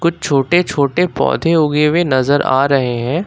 छोटे छोटे पौधे उगे हुए नजर आ रहे है।